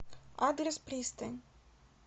адрес пристань